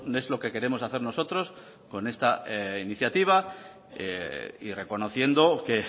es lo que queremos hacer nosotros con esta iniciativa y reconociendo que